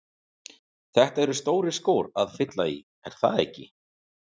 Þetta eru stórir skór að fylla í, er það ekki?